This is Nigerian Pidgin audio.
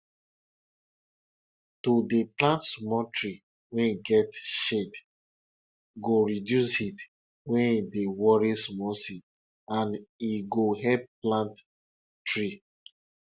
my niece dey help prepare pepper wey dem wan blend by washing am den she go also she go also remove di stalk